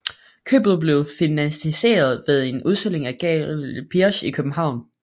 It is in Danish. Købet blev finansieret ved en udstilling på Galerie Birch i København